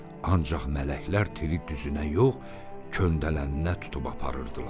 Ancaq mələklər tiri düzünə yox, köndələninə tutub aparırdılar.